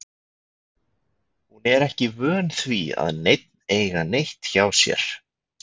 Hún er ekki vön því að neinn eiga neitt hjá sér.